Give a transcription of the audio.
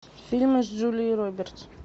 фильмы с джулией робертс